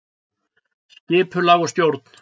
Skipulag og stjórn